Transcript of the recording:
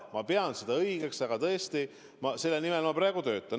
Ma pean seda õigeks ja tõesti selle nimel ma praegu töötan.